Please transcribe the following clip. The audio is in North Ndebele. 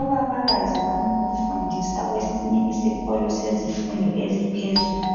Ubabakazi wami ufundisa kwesinye isikolo sezifundo eziphezulu.